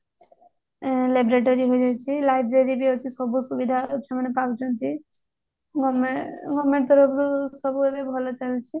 laboratory ବି ଅଛି library ବି ଅଛି ସବୁ ସୁବିଧା ମାନେ ପାଉଛନ୍ତି government government ତରଫରୁ ସବୁ ଏବେ ଭଲ ଚାଲିଛି